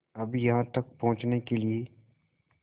अब यहाँ तक पहुँचने के लिए